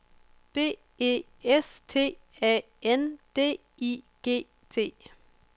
B E S T A N D I G T